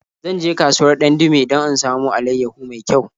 Zan je kasuwar Dandume don in samo alaiyahu mai kyau.